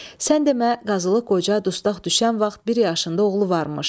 Sən demə Qazılıq Qoca dustaq düşən vaxt bir yaşında oğlu varmış.